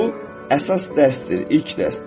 Bu əsas dərsdir, ilk dərsdir.